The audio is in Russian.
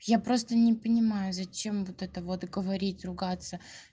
я просто не понимаю зачем вот это вот говорить ругаться